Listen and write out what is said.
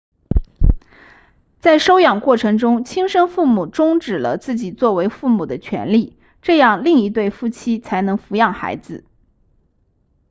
在收养过程中亲生父母终止了自己作为父母的权利这样另一对夫妇才能抚养孩子